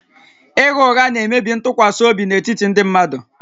Ịgha ụgha na-emebi ntụkwasị obi n'etiti ndị mmadụ